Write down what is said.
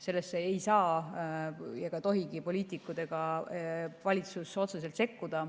Sellesse ei saa ega tohigi poliitikud ja valitsus otseselt sekkuda.